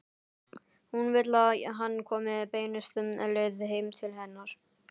Hún vill að hann komi beinustu leið heim til hennar.